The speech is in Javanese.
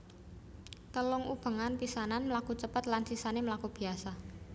Telung ubengan pisanan mlaku cepet lan sisané mlaku biasa